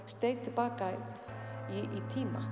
steig til baka í tíma